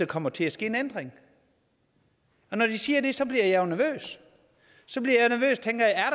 kommer til at ske en ændring og når han siger det så bliver jeg nervøs